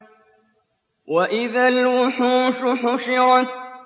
وَإِذَا الْوُحُوشُ حُشِرَتْ